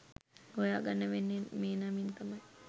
හොයා ගන්න වෙන්නේ මේ නමින් තමයි.